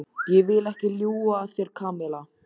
Ég vil ekki ljúga að þér, Kamilla.